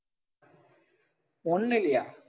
ஒண்ணுலயா